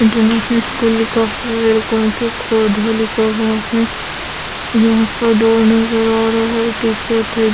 international school लिखा हुआ है --